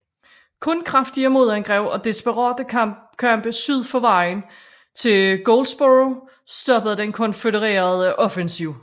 Kun kraftige modangreb og desperate kampe syd for vejen til Goldsborough stoppede den konfødererede offensiv